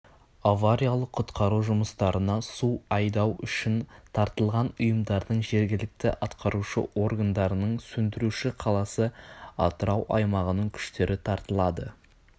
авариялық-құтқару жұмыстарына су айдау үшін тартылған ұйымдардың жергілікті атқарушы органдарының сөндіруші қаласы атырау аймағының күштері тартылады